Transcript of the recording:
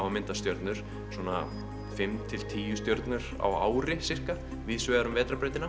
að mynda stjörnur svona fimm til tíu stjörnur á ári víðsvegar um vetrarbrautina